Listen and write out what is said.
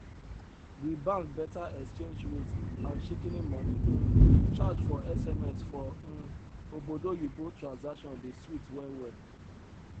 di bank beta exchange rate and shikini money um charge for sms for um obodoyibo transaction dey sweet well well